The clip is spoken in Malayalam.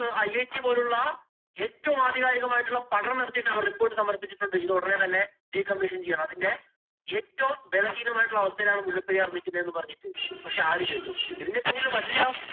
IIT പോലുള്ള ഏറ്റവും ആധികാരികമായിട്ടുള്ള പഠനം നടത്തിയിട്ട് അവര്‍ report സമര്‍പ്പിച്ചിട്ടുണ്ട്. ഇത് ഒടനെ തന്നെ decommission ചെയ്യണമെന്ന്. അതിന്‍റെ ഏറ്റവും ബലഹീനമായിട്ടുള്ള അവസ്ഥയിലാണ് മുല്ലപ്പെരിയാര്‍ നിക്കുന്നത് എന്നും പറഞ്ഞിട്ട്. പക്ഷേ, ആരു കേട്ടു? ഇതിന്‍റെ പിന്നില്‍ വല്യ